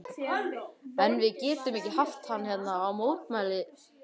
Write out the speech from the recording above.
En við getum ekki haft hann hérna mótmælti Jakob.